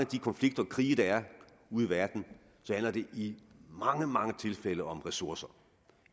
de konflikter og krige der er ude i verden handler det i mange mange tilfælde om ressourcer